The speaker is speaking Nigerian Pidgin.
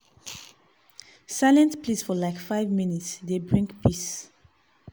silent place for like five minute dey bring peace.